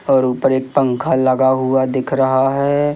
और ऊपर एक पंखा लगा हुआ दिख रहा है।